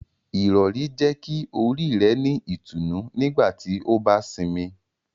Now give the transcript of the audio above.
Irọri jẹ ki ori rẹ ni itunu nigbati o ba sinmi.